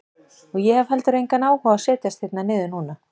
Og ég hef heldur engan áhuga á að setjast hérna niður núna.